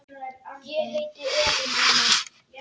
Ég heiti Elín Anna.